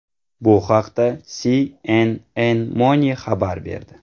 Bu haqda CNNMoney xabar berdi .